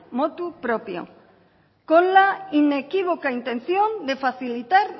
motu proprio con la inequívoca intención de facilitar